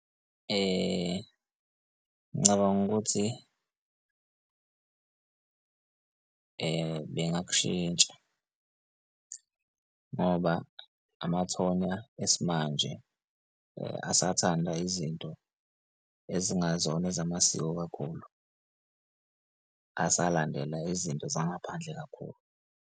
Ngicabanga ukuthi bengakushintsha, ngoba amathonya esimanje asathanda izinto ezingazona ezamasiko kakhulu asalandela izinto zangaphandle kakhulu.